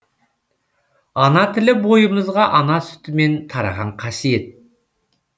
ана тілі бойымызға ана сүтімен тараған қасиет